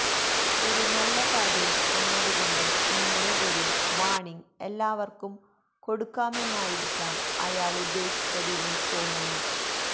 ഒരു നല്ല കാര്യം എന്നതു കൊണ്ട് ഇങ്ങനെ ഒരു വാണിങ്ങ് എല്ലാവര്ക്കും കൊടുക്കാമെന്നായിരിയ്ക്കാം അയാളുദ്ദേശ്ശിച്ചതെന്നു തോന്നുന്നു